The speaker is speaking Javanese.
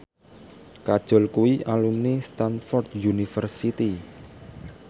Kajol kuwi alumni Stamford University